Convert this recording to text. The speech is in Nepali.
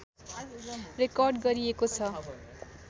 रेकर्ड गरिएको छ